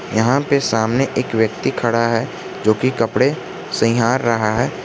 यहां पे सामने एक व्यक्ति खड़ा है जो कि कपड़े सईहार रहा है।